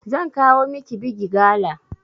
Zan kawo miki bigi gala